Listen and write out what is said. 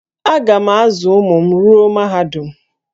Aga m azụ ụmụ m ruo mahadum